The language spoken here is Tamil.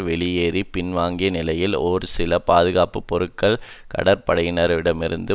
வெளியேறி பின்வாங்கிய நிலையில் ஒரு சில பாதுகாப்பு பொறுக்கள் கடற்படையினரிடமிருந்து